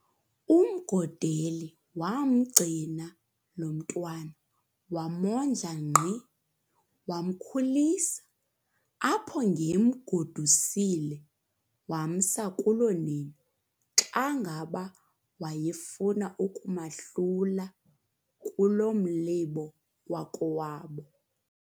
UMgodeli waamgcina lo mntwana, wamondla nkqi, wamkhulisa, apho ange emgodusile wamsa kulonina, xa ngaba wayefuna ukumahlula kulo mlibo wakowabo.